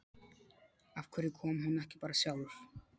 Af hverju kom hún ekki bara sjálf?